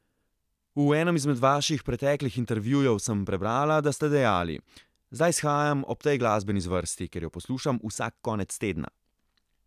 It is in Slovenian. V enem izmed vaših preteklih intervjujev sem prebrala, da ste dejali: 'Zdaj shajam ob tej glasbeni zvrsti, ker jo poslušam vsak konec tedna.